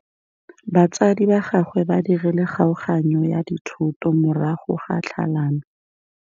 Batsadi ba gagwe ba dirile kgaoganyô ya dithoto morago ga tlhalanô.